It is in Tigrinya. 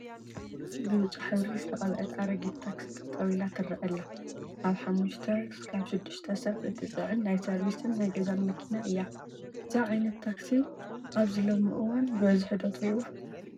ብብጫ ሕብሪ ዝተቐበአት ኣረጊት ታክሲ ጠጠው ኢላ ትረአ ኣለ፡፡ ካብ 5 ክሳብ 6 ሰብ እትፅዕን ናይ ሰርቪስን ናይ ገዛን መኪና እያ፡፡ እዛ ዓይነት ታክሲ ኣብዚ ሎሚ እዋን ብበዝሒ ዶ ትሪእዋ?